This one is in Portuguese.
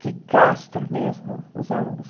que castra mesmo os alunos.